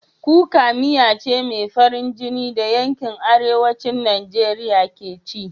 Kuka miya ce mai farin jini da yankin Arewacin Najeriya ke ci.